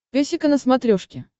песика на смотрешке